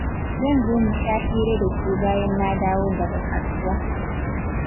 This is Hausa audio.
Zan zo mu sha hira da ke bayan na dawo daga kasuwa.